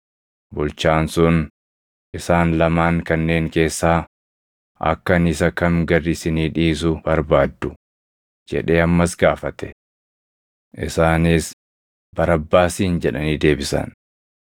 Bulchaan sun, “Isaan lamaan kanneen keessaa akka ani isa kam gad isinii dhiisu barbaaddu?” jedhee ammas gaafate. Isaanis, “Barabbaasin” jedhanii deebisan.